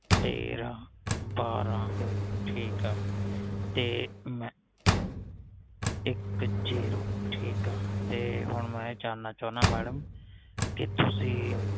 ਤੇਰਾ ਬਾਰਾਂ ਠੀਕ ਆ ਤੇ ਇਕ ਜ਼ੀਰੋ ਠੀਕ ਆ ਤੇ ਹੁਣ ਮੈ ਇਹ ਜਾਨਣਾ ਚਾਹੋਦਾਂ ਮੈਡਮ ਕਿ ਤੁਸੀ